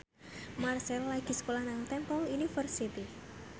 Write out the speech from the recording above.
Marchell lagi sekolah nang Temple University